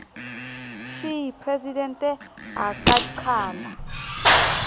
c presidente a ka qhala